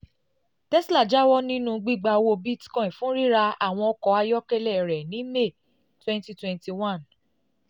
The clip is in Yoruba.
tesla jáwọ́ nínú gbígba owó bitcoin fún ra àwọn ọkọ ayọ́kẹ́lẹ́ rẹ̀ ní may twenty twenty one bó